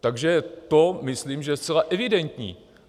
Takže to myslím, že je zcela evidentní.